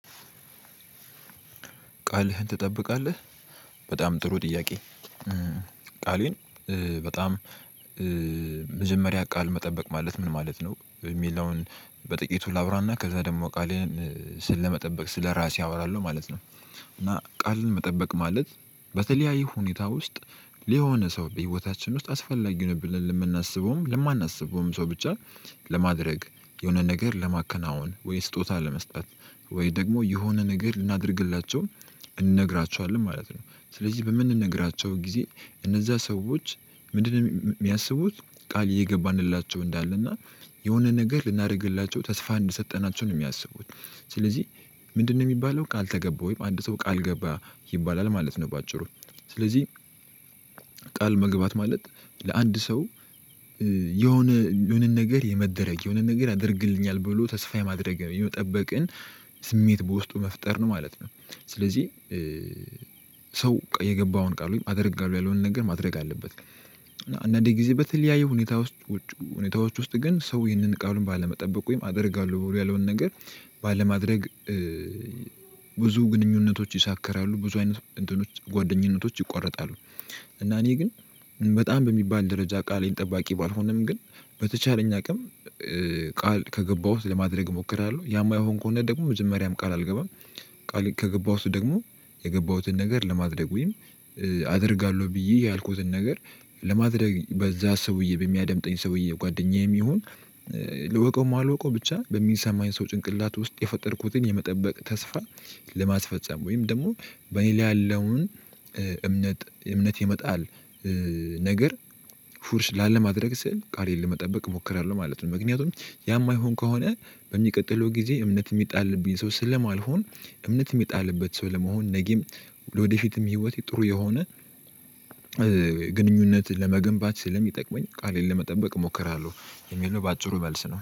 ቃልህን ትጠብቃለህ በጣም ጥሩ ጥያቄ። ቃሌን በጣም መጀመሪያ ቃል መጠበቅ ማለት ምን ማለት ነው? እሚለውን በጥቂቱ ላብራ እና ከዛ ደግሞ ቃልን ስለመጠበቅ ስለራሴ አወራለሁ ማለት ነው። እና ቃልን መጠበቅ ማለት በተለያየ ሁኔታ ውስጥ ለሆነ ሰው በህይወታችን አስፈላጊ ነው ብለን ለምናስበው ሰው ለማናስበውም ብቻ ለማድረግ የሆነ ነገር ለማከናወን ወይ ስጦታ ለመስጠት ወይ ደግሞ የሆነ ነገር ልናደርግላቸው እንነግራችኋለን ማለት ነው። ስለዚህ በምንነግራቸው ጊዜ እነዛ ሰዎች ምንድነው እሚያስቡት ቃል እየገባንላቸው እንዳለና የሆነ ነገር ልናደርግላቸው ተስፋ እንደሰጠናቸው ነው እሚያስቡት? ስለዚህ ምንድነው እሚባለው ቃል ተገባ ወይም አንድ ሰው ቃል ገባ ይባላል ማለት ነው። በአጭሩ ስለዚህ ቃል መግባት ማለት ለአንድ ሰው የሆነ የሆነን ነገር የመደረግ የሆነን ነገር ይደርግልኛል ብሎ ተስፋ የማድረግ የመጠበቅን ስሜት በውስጡ መፍጠር ነው ማለት ነው። ስለዚህ ሰው የገባውን ቃል ወይም አደርጋለው ያለውን ነገር ማድረግ አለበት። አንዳንድ ጊዜ በተለያየ ሁኔታዎች ወስጥ ሰው ይህን ቃሉን ባለመጠበቁ ወይም አደርጋለሁ ያለውን ነገር ባለማድረግ ብዙ ግንኙነቶች ይሻከራሉ ብዙ አይነት እንትኖች ጓአደኝነቶች ይቆረጣሉ። እና እኔ ግን በጣም በሚባል ደረጃ ቃሌን ጠባቂ ባልሆንንም ግን በተቻለኝ አቅም ቃል ከገባሁት ለማድረግ እሞክራለሁ ያ በማይሆን ከሆነ ደግሞ መጀመሪያም ቃል አልገባም። ቃል ከገባሁት ደግሞ የገባሁትን ነገር ለማድረግ ወይም አደርጋለሁ ብዬ ያልኩትን ነገር ለማድረግ በዛ ሰውዬ በሚያደምጠኝ ሰውዬ ጓደኛዬም ይሁን ልወቀውም አልወቀው ብቻ በሚሰማኝ ሰው ጭንቅላት ውስጥ የፈጠርኩትን የመጠበቅ ተስፋ። ለማስፈፀም ወይም ደግሞ በእኔ ላይ ያለውን እምነት እምነት የመጣል ነገር ፉርሽ ላለማድረግ ስል ቃሌን ለመጠበቅ እሞክራለሁ ማለት ነው። ምክንያቱም ያ እማይሆን ከሆነ በሚቀጥለው ጊዜ እምነት እሚጣልብኝ ሰው ስለማልሆን እምነት እሚጣልበት ሰው ለመሆን ነገም ለወደፊትም ህይወቴ ጥሩ የሆነ ግንኙነት ለመገንባት ስለሚጠቅመኝ ቃሌን ለመጠበቅ እሞክራለሁ። የሚል ነው በአጭሩ መልስ ነው